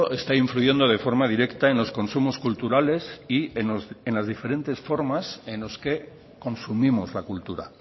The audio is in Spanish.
está influyendo de forma directa en los consumos culturales y en las diferentes formas en los que consumimos la cultura